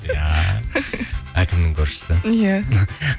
иә әкімнің көршісі иә